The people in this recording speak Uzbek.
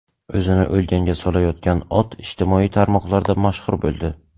O‘zini o‘lganga solayotgan ot ijtimoiy tarmoqlarda mashhur bo‘ldi .